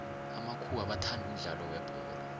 amakhuwa bathanda umudlalo webholo